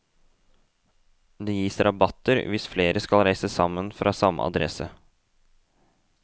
Det gis rabatter hvis flere skal reise fra samme adresse.